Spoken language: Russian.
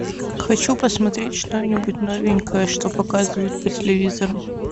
хочу посмотреть что нибудь новенькое что показывают по телевизору